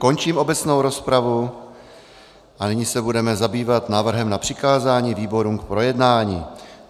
Končím obecnou rozpravu a nyní se budeme zabývat návrhem na přikázání výborům k projednání.